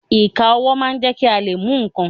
Ìka ọwọ́ máa ń jẹ́ kí a lè mú ǹkan.